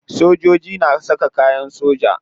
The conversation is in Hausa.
Sojoji na saka kayan soja.